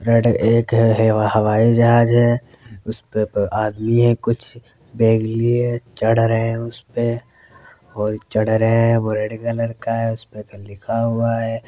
Red एक हे -- हवाईजहाज है उस पे आदमी है कुछ बैग लिए चढ़ रहे है। उस पे और चढ़ रहे है। वो रेड कलर का है। उस पे कुछ लिखा हुआ है।